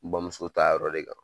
N bamuso ta yɔrɔ de kan.